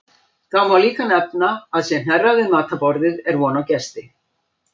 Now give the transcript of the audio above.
Þá má líka nefna að sé hnerrað við matarborðið er von á gesti.